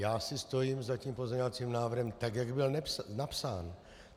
Já si stojím za tím pozměňovacím návrhem tak, jak byl napsán.